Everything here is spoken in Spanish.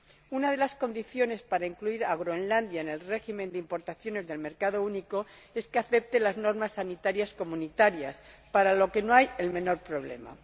Una de las condiciones para incluir a Groenlandia en el régimen de importaciones del mercado único es que acepte las normas sanitarias comunitarias, para lo que no hay el menor problema.